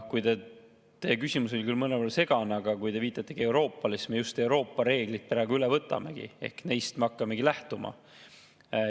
Teie küsimus oli küll mõnevõrra segane, aga kui te viitate Euroopale, siis me just Euroopa reeglid praegu üle võtamegi ehk neist me hakkamegi lähtuma.